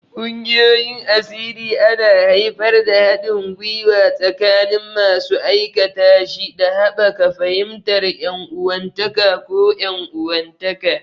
Ƙungiyoyin asiri ana haifar da haɗin gwiwa tsakanin masu aikatashi, da haɓaka fahimtar ƴan uwantaka ko 'yan uwantaka.